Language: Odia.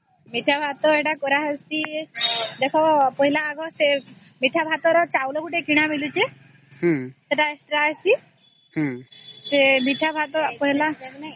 ମିଠା ଭାତ ଏଟା କରା ହଁଆଉସେ ଦେଖା ପହିଲା ମିଠା ଭାତ ର ଚାଉଳ ଗୋଟେ କିଣା ମିଲୁଛେ ସେଟା ଆଣି ଆସି ସେ ମିଠା ଭାତ ପହିଲା